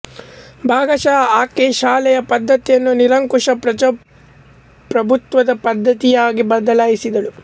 ಭಾಗಶಃ ಆಕೆ ಶಾಲೆಯ ಪದ್ಧತಿಯನ್ನು ನಿರಂಕುಶ ಪ್ರಭುತ್ವದ ಪದ್ದತಿಯಾಗಿ ಬದಲಾಯಿಸಿದಳು